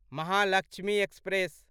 Mahalakshmi express